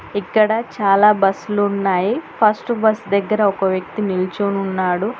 ఇక్కడ చాలా బస్సులు ఉన్నాయి ఫస్ట్ బస్సు దగ్గర ఒక వ్యక్తి నిల్చోని ఉన్నాడు.